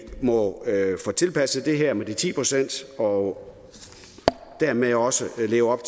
må få tilpasset det her med de ti procent og dermed også leve op